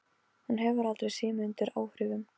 Hún hefur aldrei séð mig undir áhrifum.